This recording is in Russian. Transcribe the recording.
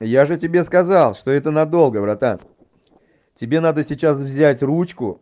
я же тебе сказал что это надолго братан тебе надо сейчас взять ручку